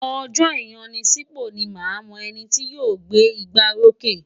Ọjọ́ ìyanisípò ni màá mọ ẹni tí yóò gbé igbárókè.